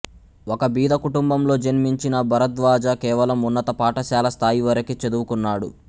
ఒక బీదకుటుంబంలో జన్మించిన భరద్వాజ కేవలం ఉన్నత పాఠశాల స్థాయివరకే చదువుకున్నాడు